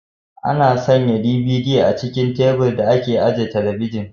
Ana sanya DVD a cikin tabir da ake ajiye talabijin.